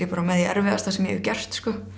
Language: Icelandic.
með því erfiðasta sem ég hef gert